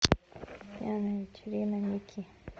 пьяная вечерина микки